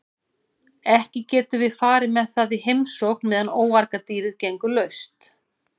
Ekki getum við farið með það í heimsókn meðan óargadýrið gengur laust.